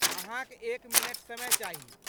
अहाँक एक मिनट समय चाही।